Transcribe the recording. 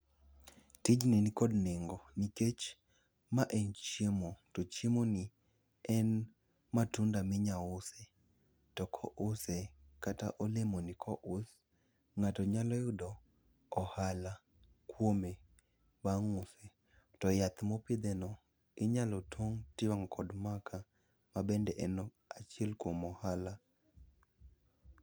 Tijni nikod nengo nikech ma en chiemo, to chiemoni en matunda minya use. To kouse, kata olemoni kous, ng'ato nyalo yudo ohala kuome ,bang' use. To yath mopidheno, inyalo tong' tiwang'o kod maka, mabende en achiel kuom ohala.